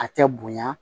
A tɛ bonya